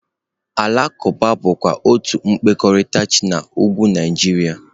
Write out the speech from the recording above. Alakwuba bụkwa otu okpukpere chi na Ugwu Naijiria.